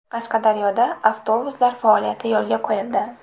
Qashqadaryoda avtobuslar faoliyati yo‘lga qo‘yildi.